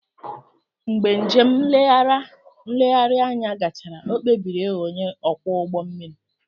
Mgbe njem nlegharị anya gachara, o kpebiri ịghọ onye ọkwọ ụgbọ mmiri